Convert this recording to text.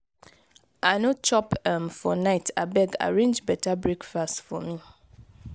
i no chop um for night abeg arrange beta breakfast for me.